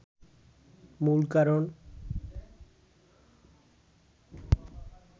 মূল কারণ